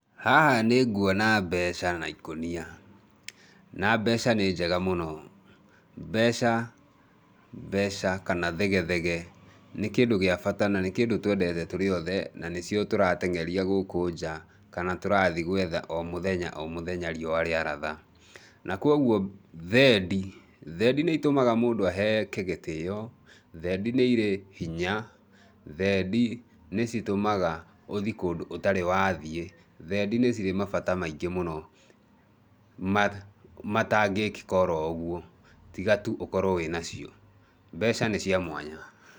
Haha nĩngũona mbeca na ikũnia, na mbeca nĩ njega mũno, mbeca mbeca kana thege thege nĩ kĩndũ gĩa bata na kĩndũ twendete tũrĩothe na nĩcio tũrateng'eria gũkũ nja kana tũrathiĩ gwetha o mũthenya o mũthenya riũa rĩa ratha, na kwoguo thendi, thendi nĩitũmaga mũndũ aheeke gĩtĩo, thendi nĩirĩ hinya, thendi nĩ citũmaga ũthiĩ kũndũ ũtarĩ wathiĩ, thendi nĩ cirĩ mabata maingĩ mũno ma matangĩkĩka oro ũguo tiga tu ũkorwo wĩna cio, mbeca nĩ cia mwanya.